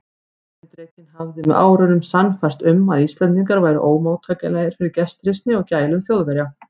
Erindrekinn hafði með árunum sannfærst um, að Íslendingar væru ómóttækilegir fyrir gestrisni og gælum Þjóðverja.